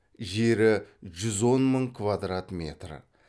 жері жүз он мың квадрат метр